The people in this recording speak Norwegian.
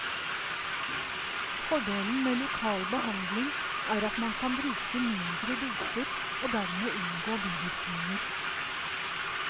Fordelen med lokal behandling er at man kan bruke mindre doser og dermed unngå bivirkninger.